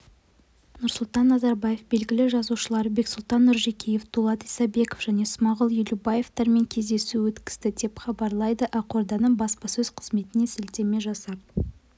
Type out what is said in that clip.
нұрсұлтан назарбаев белгілі жазушылар бексұлтан нұржекеев дулат исабеков және смағұл елубаевтармен кездесу өткізді деп хабарлайды ақорданың баспасөз қызметіне сілтеме жасап